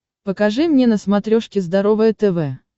покажи мне на смотрешке здоровое тв